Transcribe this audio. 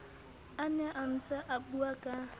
a ne a ntseabua ka